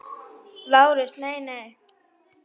LÁRUS: Nei, nei!